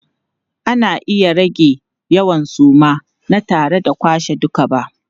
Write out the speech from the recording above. Ana iya rage yawan suma na tare da kwashe duka ba.